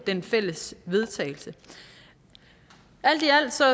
den fælles vedtagelse alt i alt ser